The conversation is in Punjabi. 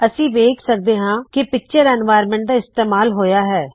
ਅਸੀ ਵੇਖ ਸਕਦੇ ਹਾ ਕਿ ਪਿਕਚਰ ਪ੍ਰਵੇਸ਼ ਪਿਕਚਰ ਇਨਵਾਇਰਨਮੈਂਟ ਦਾ ਇਸਤੇਮਾਲ ਹੋਇਆ ਹੈ